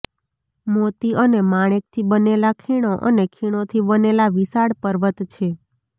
મોતી અને માણેકથી બનેલા ખીણો અને ખીણોથી બનેલા વિશાળ પર્વત છે